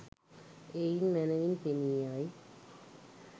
එයින් මැනැවින් පෙනී යයි.